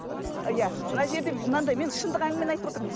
иә мына жерде мынандай мен шындық әңгімені айтып отырмыз